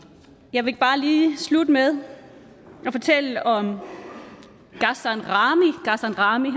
jeg vil bare lige slutte med at fortælle om ghassan rahmi